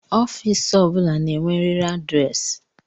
Ofiisi o bụla na-enweriri adịresị